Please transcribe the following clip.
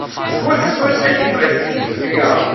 сколько стоит один бразильский реал